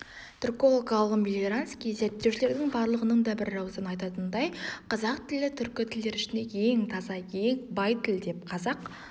түрколог-ғалым мелиоренский зерттеушілердің барлығының да бірауыздан айтатынындай қазақ тілі түркі тілдері ішінде ең таза ең бай тіл деп қазақ